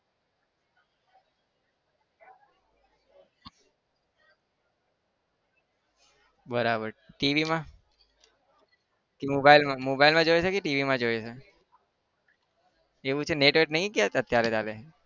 બરાબર TV માં mobile માં mobile માં જોયો છે કે TV માં જોયો છે. એવું છે network નહિ કયાંક અત્યારે તારે?